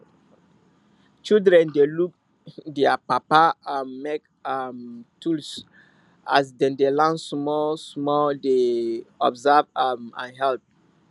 children dey look dier papa um make um tools as dem de learn small small dey observe um and help